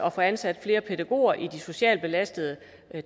at få ansat flere pædagoger i de socialt belastede